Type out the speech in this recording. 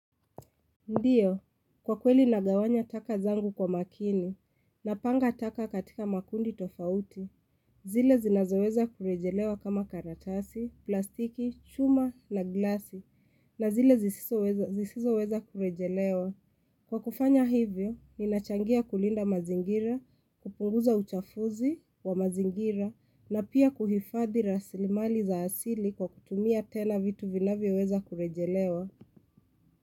Ndiyo, kwa kweli nagawanya taka zangu kwa makini, napanga taka katika makundi tofauti, zile zinazoweza kurejelewa kama karatasi, plastiki, chuma na glasi, na zile zisisoweza zisizoweza kurejelewa. Kwa kufanya hivyo, ninachangia kulinda mazingira, kupunguza uchafuzi wa mazingira, na pia kuhifadhi rasilimali za asili kwa kutumia tena vitu vinavyoweza kurejelewa.